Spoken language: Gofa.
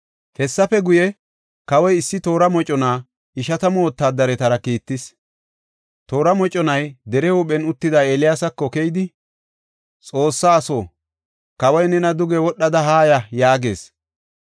Hessafe guye, kawoy issi toora mocona ishatamu wotaadaretara kiittis. Toora moconay dere huuphen uttida Eeliyaasako keyidi, “Xoossa aso, kawoy nena, duge wodhada haaya” yaagees.